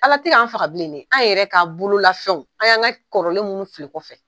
Ala tɛ kan faga bilen dɛ, an yɛrɛ k'a bolo lafɛnw, an y'an ka kɔrɔlen minnu fili kɔfɛ.